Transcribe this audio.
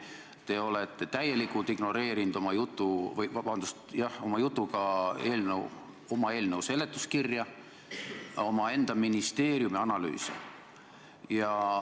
Te olete oma jutuga täielikult ignoreerinud eelnõu seletuskirja, omaenda ministeeriumi analüüse.